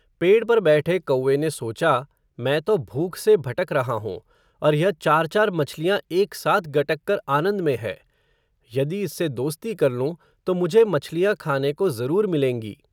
पेड़ पर बैठे कौए ने सोचा, मैं तो भूख से भटक रहा हूँ, और यह चार चार मछलियां एक साथ गटक कर आनंद में है. यदि इससे दोस्ती कर लूं, तो मुझे मछलियां खाने को ज़रूर मिलेंगी.